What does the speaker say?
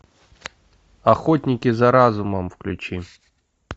охотники за разумом включи